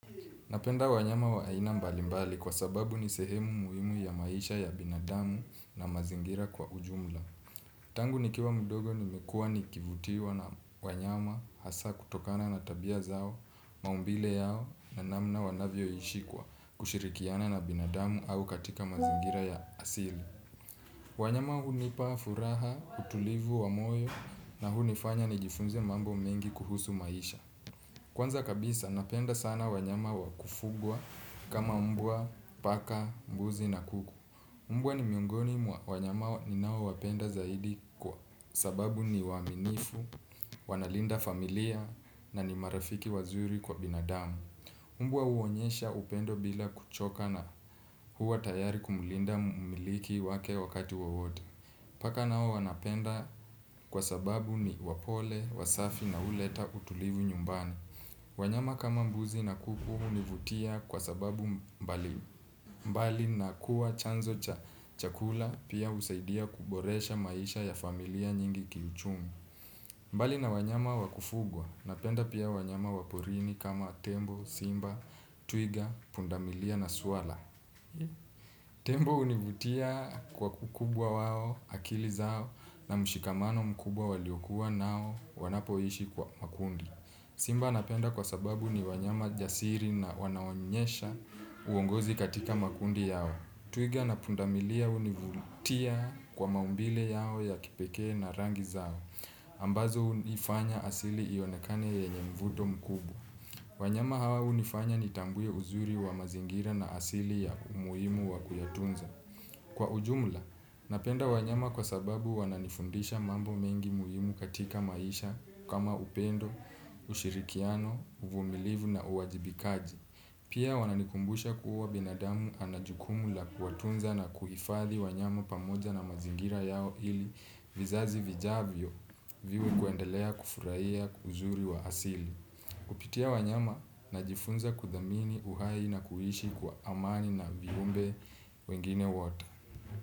Napenda wanyama wa aina mbalimbali kwa sababu ni sehemu muhimu ya maisha ya binadamu na mazingira kwa ujumla. Tangu nikiwa mdogo nimekua nikivutiwa na wanyama hasaa kutokana na tabia zao, maumbile yao na namna wanavyoishi kwa kushirikiana na binadamu au katika mazingira ya asili. Wanyama hunipa furaha, utulivu wa moyo na hunifanya nijifunze mambo mengi kuhusu maisha. Kwanza kabisa napenda sana wanyama wa kufugwa kama mbwa, paka, mbuzi, na kuku. Mbwa ni miongoni mwa wanyama ninaowapenda zaidi kwa sababu ni waaminifu, wanalinda familia na ni marafiki wazuri kwa binadamu. Mbwa huonyesha upendo bila kuchoka na huwa tayari kumulinda mumiliki wake wakati wowote. Paka nao wanapenda kwa sababu ni wapole, wasafi na huleta utulivu nyumbani. Wanyama kama mbuzi na kuku hunivutia kwa sababu mbalimbali na kuwa chanzo cha chakula pia husaidia kuboresha maisha ya familia nyingi kiuchumi. Mbali na wanyama wa kufugwa napenda pia wanyama wa porini kama tembo, simba, twiga, pundamilia na swara. Tembo hunivutia kwa ukubwa wao akili zao na mshikamano mkubwa waliokuwa nao wanapoishi kwa makundi. Simba napenda kwa sababu ni wanyama jasiri na wanaonyesha uongozi katika makundi yao. Twiga na pundamilia hunivutia kwa maumbile yao ya kipekee na rangi zao ambazo hunifanya asili ionekane yenye mvuto mkubwa. Wanyama hawa hunifanya nitambue uzuri wa mazingira na asili ya umuhimu wa kuyatunza. Kwa ujumla, napenda wanyama kwa sababu wananifundisha mambo mengi muhimu katika maisha kama upendo, ushirikiano, uvumilivu, na uwajibikaji. Pia wananikumbusha kuwa binadamu ana jukumu la kuwatunza na kuhifadhi wanyama pamoja na mazingira yao ili vizazi vijavyo viwe kwendelea kufurahia uzuri wa asili. Kupitia wanyama najifunza kudhamini uhai na kuishi kwa amani na viumbe wengine wote.